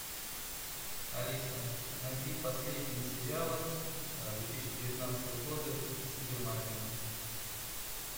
алиса найди последние сериалы две тысячи девятнадцатого года германии